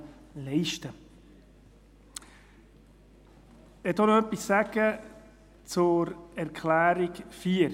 Ich möchte auch noch etwas zur Planungserklärung 4 sagen.